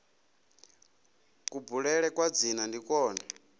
kubulele kwa dzina ndi kwone